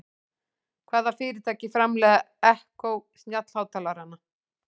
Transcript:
Hvaða fyrirtæki framleiðir Echo snjallhátalarann?